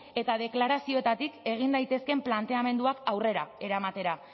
eta deklarazioetatik egin daitezkeen planteamenduak aurrera eramatera